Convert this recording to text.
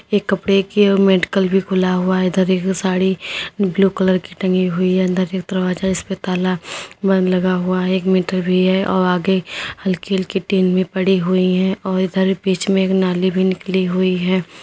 एक कपड़े की ओ मेडिकल भी खुला हुआ हैं। इधर एक साड़ी ब्लू कलर की टंगी हुई है। अंदर एक दरवाजा जिसपे ताला बंद लगा हुआ है। एक मीटर भी है औ आगे हल्की हल्की टीन भी पड़ी हुई हैं और इधर बीच में एक नाली निकली हुई हैं।